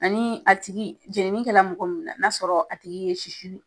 Ani a tigi jeninikɛla mɔgɔ min na, n'a sɔrɔ a tigi ye sisu